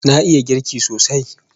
Na iya girki sosai